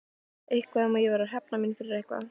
Eitthvað um að ég væri að hefna mína fyrir eitthvað.